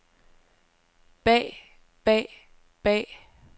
bag bag bag